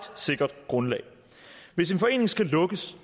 sikkert grundlag hvis en forening skal lukkes